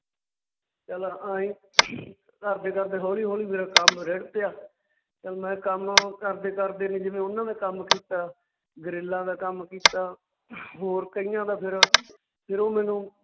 ਚੱਲ ਆਂਏ ਕਰਦੇ ਕਰਦੇ ਹੌਲੀ ਹੌਲੀ ਮੇਰਾ ਕੰਮ ਰਿੜ ਪਿਆ ਚੱਲ ਮੈਂ ਕੰਮ ਕਰਦੇ ਕਰਦੇ ਨੇ ਜਿਵੇਂ ਉਨਾਂ ਨੇ ਕੰਮ ਕੀਤਾ, ਗਰਿੱਲਾਂ ਦਾ ਕੰਮ ਕੀਤਾ ਹੋਰ ਕਈਆਂ ਦਾ ਫਿਰ ਫਿਰ ਉਹ ਮੈਨੂੰ